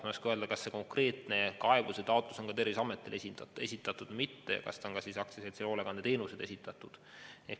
Ma ei oska öelda, kas see konkreetne kaebus on Terviseametile esitaud või mitte ja kas see on ka AS-ile Hoolekandeteenused esitatud.